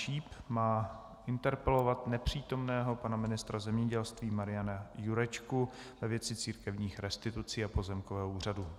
Číp má interpelovat nepřítomného pana ministra zemědělství Mariana Jurečku ve věci církevních restitucí a pozemkového úřadu.